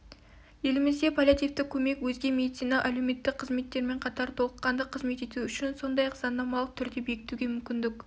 еліміздегі паллиативтік көмек өзге медициналық-әлеуметтік қызметтермен қатар толыққанды қызмет ету үшін сондай-ақ заңнамалық түрде бекітуге мүмкіндік